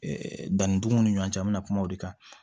danni dugun ni ɲɔgɔn cɛ an bɛna kuma o de kan